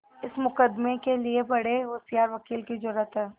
इस मुकदमें के लिए बड़े होशियार वकील की जरुरत है